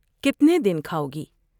کتنے دن کھاؤ گی ۔